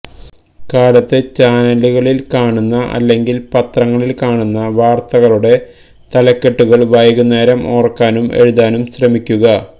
കാലത്ത് ചാനലുകളില് കാണുന്ന എല്ലെങ്കില് പത്രങ്ങളില് കാണുന്ന വാര്ത്തകളുടെ തലക്കെട്ടുകള് വൈകുന്നേരം ഓര്ക്കാനും എഴുതാനും ശ്രമിക്കുക